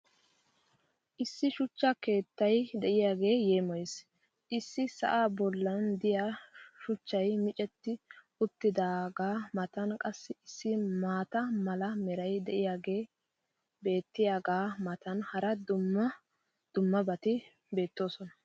Issi shuchcha keettay diyaagee yeemmoyees! Issi sa"aa boli diyaa shuchchay micetti uttidaagaa matan qassi issi maata mala meray diyaagee beetiyaagaa matan hara dumma dummabati beettoosona.